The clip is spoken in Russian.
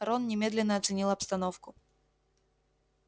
рон немедленно оценил обстановку